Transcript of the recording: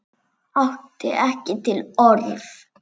Átti ekki til orð.